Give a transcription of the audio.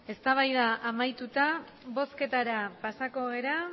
eztabaida amaituta bozketara pasako gara